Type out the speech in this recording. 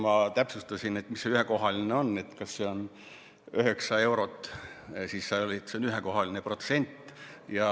Ma täpsustasin, mis see ühekohaline on, kas see on üheksa eurot, siis öeldi, et see on ühekohaline protsent.